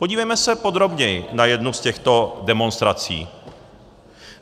Podívejme se podrobněji na jednu z těchto demonstrací.